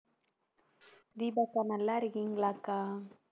தீபா அக்கா நல்லா இருக்கீங்களாக்கா